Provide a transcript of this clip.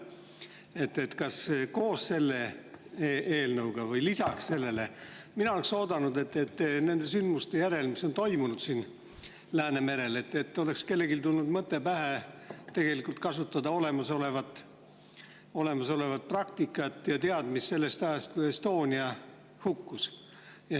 Nimelt, mina oleksin oodanud, et koos selle eelnõuga või lisaks sellele oleks nende sündmuste järel, mis on toimunud Läänemerel, kellelegi tulnud pähe mõte kasutada olemasolevat praktikat ja teadmisi sellest ajast, kui Estonia hukkus.